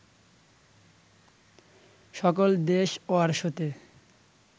সকল দেশ ওয়ারশতে